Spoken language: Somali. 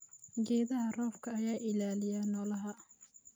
Geedaha roobka ayaa ilaaliya noolaha.